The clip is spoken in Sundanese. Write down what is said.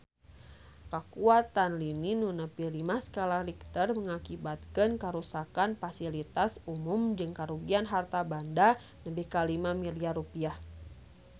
Kakuatan lini nu nepi lima skala Richter ngakibatkeun karuksakan pasilitas umum jeung karugian harta banda nepi ka 5 miliar rupiah